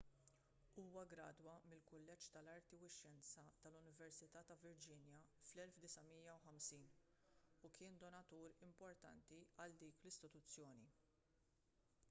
huwa ggradwa mill-kulleġġ tal-arti u x-xjenza tal-università ta' virginia fl-1950 u kien donatur importanti għal dik l-istituzzjoni